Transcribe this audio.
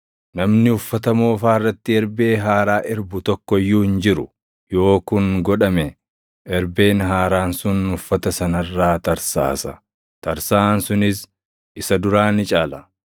“Namni uffata moofaa irratti erbee haaraa erbu tokko iyyuu hin jiru. Yoo kun godhame, erbeen haaraan sun uffata sana irraa tarsaasa; tarsaʼaan sunis isa duraa ni caala.